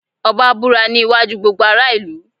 Ọbá búra ní iwájú gbogbo ará ìlú.